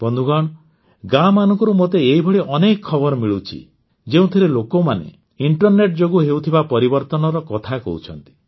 ବନ୍ଧୁଗଣ ଗାଁମାନଙ୍କରୁ ମୋତେ ଏଇଭଳି ଅନେକ ଖବର ମିଳୁଛି ଯେଉଁଥିରେ ଲୋକମାନେ ଇଣ୍ଟରନେଟ୍ ଯୋଗୁଁ ହେଉଥିବା ପରିବର୍ତ୍ତନର କଥା କହୁଛନ୍ତି